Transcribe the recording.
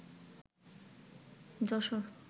Jessore